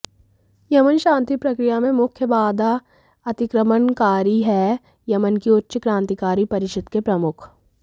Yemen शांति प्रक्रिया में मुख्य बाधा अतिक्रमणकारी हैः यमन की उच्च क्रान्तिकारी परिषद के प्रमुख